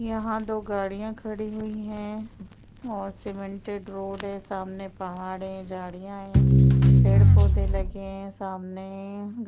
यहाँ दो गाड़ियां खड़ी हुई है और सीमेंटडरोड है सामने पहाड़ है झाड़िया है पेड़-पौधे लगे है सामने। --